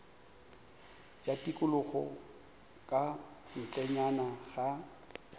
ya tikologo ka ntlenyana ga